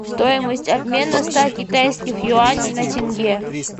стоимость обмена ста китайских юаней на тенге